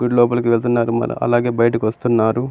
విల్లు లోపల వెళ్తున్నారు అలాగే బయటకు వస్తున్నారు.